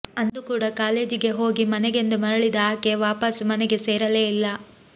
ಅಂದು ಕೂಡ ಕಾಲೆಜಿಗೆ ಹೋಗಿ ಮನೆಗೆಂದು ಮರಳಿದ ಆಕೆ ವಾಪಾಸ್ಸು ಮನೆಗೆ ಸೇರಲೇ ಇಲ್ಲ